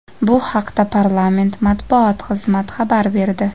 Bu haqda parlament Matbuot xizmati xabar berdi.